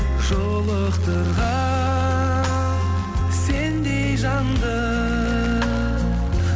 жолықтырған сендей жанды